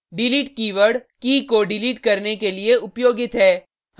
delete keyword की key को delete करने के लिए उपयोगित है